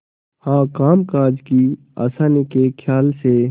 हाँ कामकाज की आसानी के खयाल से